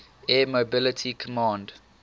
air mobility command